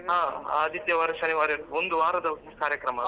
ಹಾ ಆದಿತ್ಯವಾರ ಶನಿವಾರ ಒಂದು ವಾರದ ಕಾರ್ಯಕ್ರಮ ಅಲ್ವ.